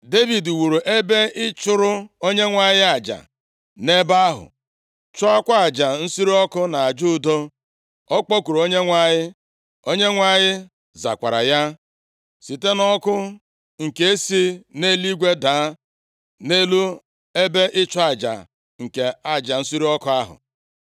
Devid wuru ebe ịchụrụ Onyenwe anyị aja nʼebe ahụ, chụọkwa aja nsure ọkụ na aja udo. Ọ kpọkuru Onyenwe anyị, Onyenwe anyị zakwara ya, site nʼọkụ nke si nʼeluigwe daa nʼelu ebe ịchụ aja nke aja nsure ọkụ ahụ.